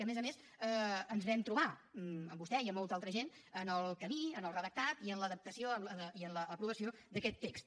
i a més a més ens vam trobar amb vostè i amb molta altra gent en el camí en el redactat en l’adaptació i en l’aprovació d’aquest text